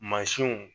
Mansinw